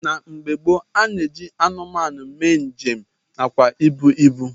Na mgbe gboo a na-eji anụmanụ eme njem nakwa ebu ibu